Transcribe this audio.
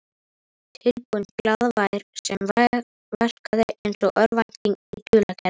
Tilbúin glaðværð sem verkaði einsog örvænting í dulargervi.